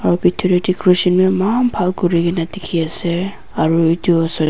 bitor tae decoration bi eman bhal pa kurina dikhi ase aru edu osor tae.